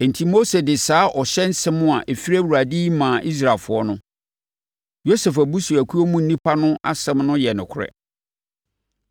Enti Mose de saa ɔhyɛ nsɛm a ɛfiri Awurade yi maa Israelfoɔ no: “Yosef abusuakuo mu nnipa no asɛm no yɛ nokorɛ.